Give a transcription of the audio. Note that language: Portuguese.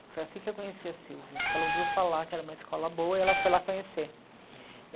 Foi assim que eu conheci a Sílvia, porque ela ouviu falar que era uma escola boa e ela foi lá conhecer.